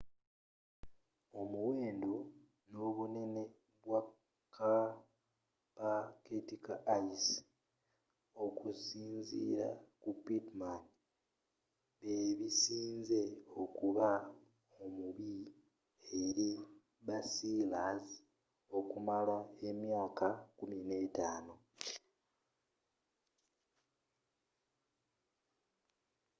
omuwendo n'obunene bwa kapaketi ka ice okusinziira ku pittman bebisinze okuba omubi eri basealers okumala emyaka 15